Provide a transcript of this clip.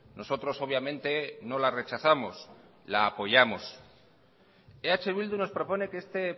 nosotros obviamente no la rechazamos la apoyamos eh bildu nos propone que este